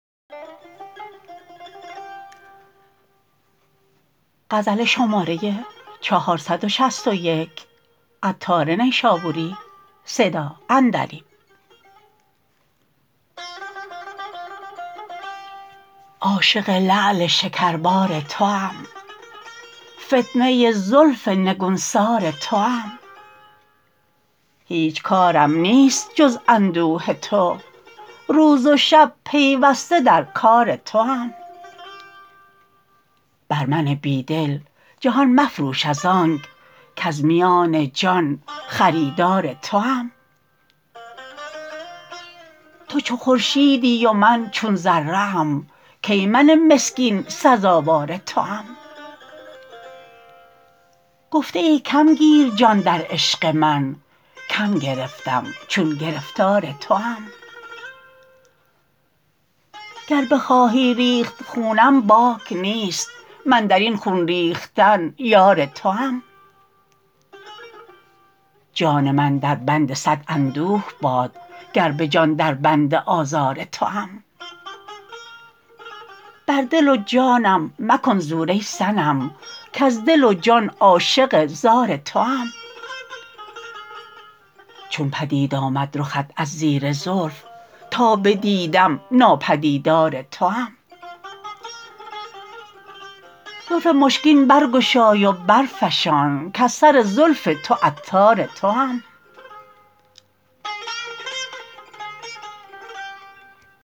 عاشق لعل شکربار توام فتنه زلف نگونسار توام هیچ کارم نیست جز اندوه تو روز و شب پیوسته در کار توام بر من بی دل جهان مفروش از آنک کز میان جان خریدار توام تو چو خورشیدی و من چو ذره ام کی من مسکین سزاوار توام گفته ای کم گیر جان در عشق من کم گرفتم چون گرفتار توام گر بخواهی ریخت خونم باک نیست من درین خون ریختن یار توام جان من دربند صد اندوه باد گر به جان دربند آزار توام بر دل و جانم مکن زور ای صنم کز دل و جان عاشق زار توام چون پدید آمد رخت از زیر زلف تا بدیدم ناپدیدار توام زلف مشکین برگشای و برفشان کز سر زلف تو عطار توام